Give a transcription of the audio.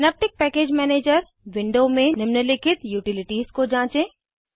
synaptic package manager window में निम्नलिखित utilities को जाँचें